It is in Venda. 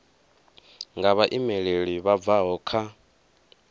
nga vhaimeleli vha bvaho kha